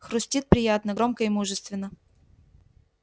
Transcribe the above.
хрустит приятно громко и мужественно